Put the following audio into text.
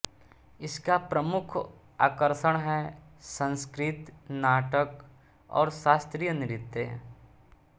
इसका प्रमुख आकर्षण है संस्कृत नाटक और शास्त्रीय नृत्य